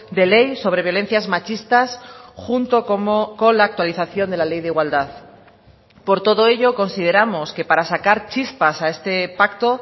de ley sobre violencias machistas junto con la actualización de la ley de igualdad por todo ello consideramos que para sacar chispas a este pacto